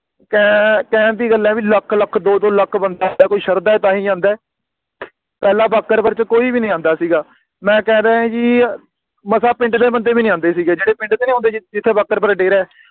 ਕੇਨ ਕਹਿਣ ਦੀ ਗੱਲ ਆ ਵੀ ਲੱਖ ਲੱਖ ਦੋ ਦੋ ਲੱਖ ਬੰਦਾ ਆਉਂਦਾ ਕੋਈ ਸ਼ਾਰਦਾ ਏ ਤਾਹਿ ਆਉਂਦਾ ਪਹਿਲਾ ਬਾਘਰਪੁਰ ਚ ਕੋਈ ਨੀ ਆਂਦਾ ਸੀਗਾ ਮੈਂ ਸ਼ਾਇਦ ਹੀ ਮਸਾਂ ਪਿੰਡ ਦੇ ਬੰਦੇ ਵੀ ਨਹੀਂ ਆਉਂਦੇ ਸੀਗੇ ਇਥੇ ਪਿੰਡ ਦੇ ਨੀ ਆਉਂਦੇ ਸੀਗੇ ਬਾਘਪੁਰ ਡੇਰਾ ਏ